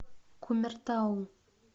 кумертау